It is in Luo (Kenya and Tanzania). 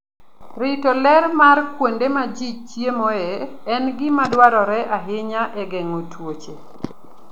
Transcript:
Rito ler mar kuonde ma ji chiemoe en gima dwarore ahinya e geng'o tuoche.